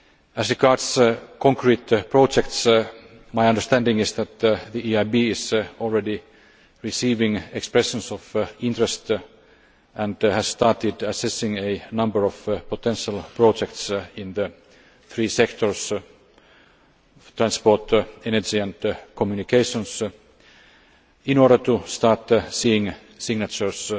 As regards concrete projects, my understanding is that the EIB is already receiving expressions of interest and has started assessing a number of potential projects in the three sectors transport, energy and communications in order to start seeing signatures